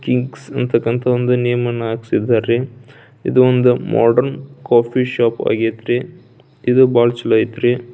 Things ಅಂತಾಕಾಂತ ಒಂದು name ಅನ್ನು ಹಾಕ್ಸಿದ್ದರೆ ರೀ ಇದೊಂದು ಮಾಡ್ರನ್ ಕಾಫಿ ಶಾಪ್ ಆಗೇತ್ರಿ ಇದು ಭಾಳ ಚೋಲೊಯೆತ್ರೀ.